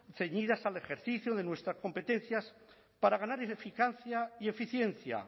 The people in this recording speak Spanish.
ceñidas al ejercicio de nuestras competencias para ganar en eficacia y eficiencia